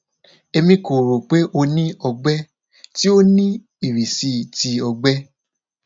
emi ko ro pe o ni ọgbẹ ti o ni irisi ti ọgbẹ